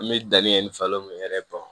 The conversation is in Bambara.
An bɛ danni kɛ ni falo mun yɛrɛ dɔn